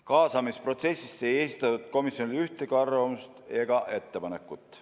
Kaasamisprotsessis ei esitatud komisjonile ühtegi arvamust ega ettepanekut.